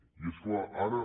i és clar ara